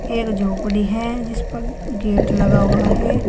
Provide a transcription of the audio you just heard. झोपड़ी है जिस पर गेट लगा हुआ है।